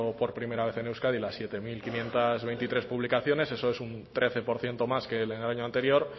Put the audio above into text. por primera vez en euskadi las siete mil quinientos veintitrés publicaciones eso es un trece por ciento más que en el año anterior